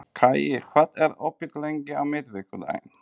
Kaía, hvað er opið lengi á miðvikudaginn?